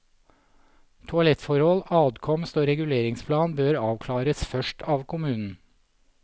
Toalettforhold, adkomst og reguleringsplan bør avklares først av kommunen.